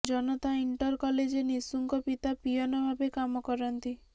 ଜନତା inter କଲେଜରେ ନିଶୁଙ୍କ ପିତା ପିଅନ ଭାବେ କାମ କରନ୍ତି